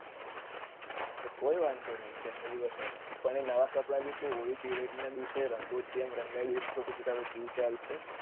તો કોઈ વાંધો નથી જન્મ દિવસ હોય પણ એ નવા કપડા ભી તું હોળી ધૂળેટી ના દિવસે એમ રંગો થી એમ રંગાય દયીસ એ ચાલશે